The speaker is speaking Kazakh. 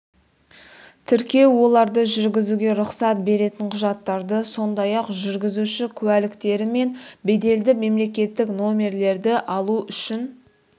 тіркеу оларды жүргізуге рұқсат беретін құжаттарды сондай-ақ жүргізуші күәліктері мен беделді мемлекеттік номерлерді алу үшін